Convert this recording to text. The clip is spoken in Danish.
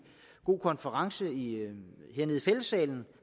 god konference hernede i fællessalen